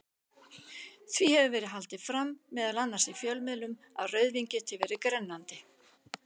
Því hefur verið haldið fram, meðal annars í fjölmiðlum, að rauðvín geti verið grennandi.